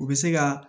U bɛ se ka